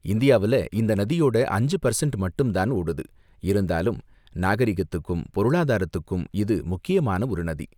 இந்தியாவுல இந்த நதியோட அஞ்சு பர்சண்ட் மட்டும்தான் ஓடுது, இருந்தாலும் நாகரிகத்துக்கும் பொருளாதாரத்துக்கும் இது முக்கியமான ஒரு நதி.